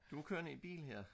du er kørende i bil her